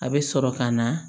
A bɛ sɔrɔ ka na